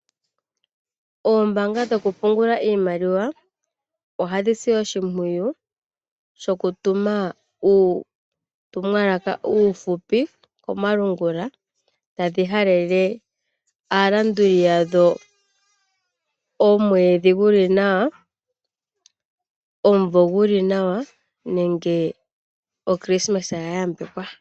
Oombaanga dhokupungula iimaliwa ohadhisi oshimpwiyu shoku tuma uutumwalaka uuhupi komalungula. Tadhihalele aalanduli yadhoo omwedhi guli nawa, omuvo guli nawa, nenge okilisimesa ya yambekwa.